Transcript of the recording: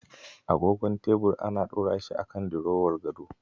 Agogon tebir ana ɗorashi akan dirowar gado.